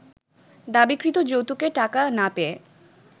দাবিকৃত যৌতুকের টাকা না পেয়ে